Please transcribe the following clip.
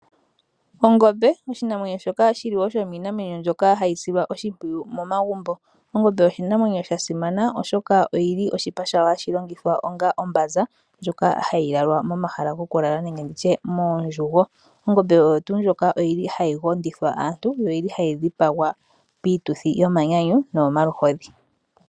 Ongombe oshinamwenyo shoka shili shominamwenyo mbyoka hayi silwa oshipwiyu momagumbo, ongombe oshinamwenyo sha simana oshoka oyili oshipa shawo hashilongithwa onga ombaza ndjoka hayilalwa momahala yokulala nenge nditye mondjugo, ongombe oyo tu ndjoka oyili hayi ngondithea aantu yo oyili hayi dhipangwa pituthi yomanyanyu noyo maluhidhi.